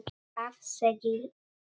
Hvað segið þér?